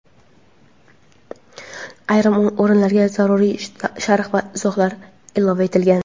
ayrim o‘rinlarga zaruriy sharh va izohlar ilova etilgan.